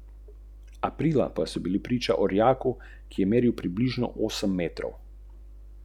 Tako moški kot ženske ne smemo pričakovati, da nam bodo drugi pripogibali veje, zagotavljali olajšave.